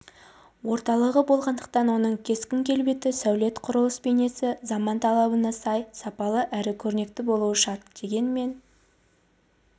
орталығы болғандықтан оның кескін-келбеті сәулет-құрылыс бейнесі заман талабына сай сапалы әрі көрнекті болуы шарт дегенмен